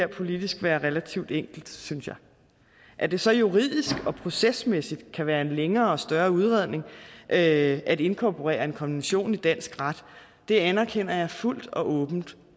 politisk være relativt enkelt synes jeg at det så juridisk og procesmæssigt kan være en længere og større udredning at at inkorporere en konvention i dansk ret anerkender jeg fuldt og åbent